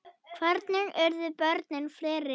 Hvernig urðu börnin fleiri?